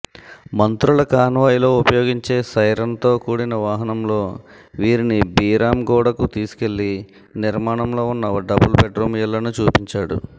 మంత్రుల కాన్వాయ్లో ఉపయోగించే సైరన్తో కూడిన వాహనంలో వీరిని బీరాంగూడకు తీసుకెళ్లి నిర్మాణంలో ఉన్న డబుల్ బెడ్రూమ్ ఇళ్లను చూపించాడు